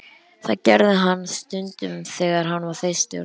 Það gerði hann stundum þegar hann var þyrstur.